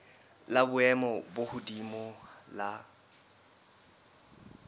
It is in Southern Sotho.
la boemo bo hodimo la